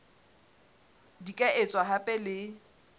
di ka etswa hape le